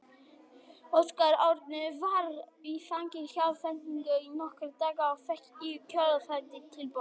Óskar Örn var við æfingar hjá félaginu í nokkra daga og fékk í kjölfarið tilboð.